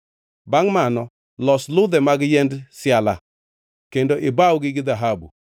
Bangʼ mano los ludhe mag yiend siala kendo ibawgi gi dhahabu.